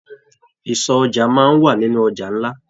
Ìsọ̀ ọjà máa n wà nínú ọjà nlá.